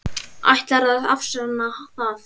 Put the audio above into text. Ætlarðu að afsanna það?